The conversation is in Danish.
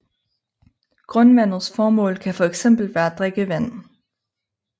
Grundvandets formål kan for eksempel være drikkevand